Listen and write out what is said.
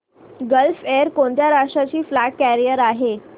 gulf Air कोणत्या राष्ट्राची flag carrier आहे